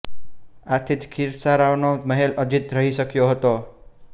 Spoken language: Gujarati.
આથી જ ખીરસરાનો મહેલ અજીત રહી શક્યો હતો